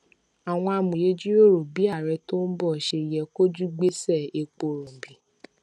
àwọn amòye jíròrò bí ààrẹ tó ń bọ ṣe yẹ kojú gbèsè epo rọbì